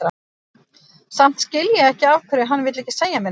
Samt skil ég ekki af hverju hann vill ekki segja mér neitt.